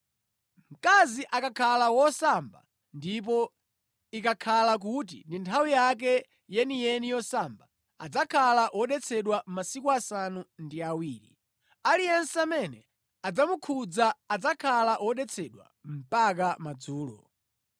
“ ‘Mkazi akakhala wosamba ndipo ikakhala kuti ndi nthawi yake yeniyeni yosamba, adzakhala wodetsedwa masiku asanu ndi awiri. Aliyense amene adzamukhudza adzakhala wodetsedwa mpaka madzulo.